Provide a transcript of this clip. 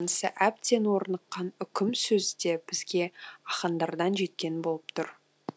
әбден орныққан үкім сөзі де бізге ахаңдардан жеткен болып тұр